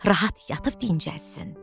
Rahat yatıb dincəlsin.